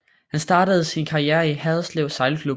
Han startede sin karriere i Haderslev sejlklub